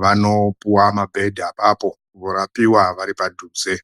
vanopuwa mabhedha apapo varapiwa varipadhuze.